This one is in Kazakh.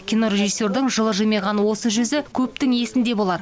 кинорежиссердің жылы жымиған осы жүзі көптің есінде болар